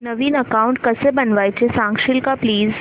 नवीन account कसं बनवायचं सांगशील का प्लीज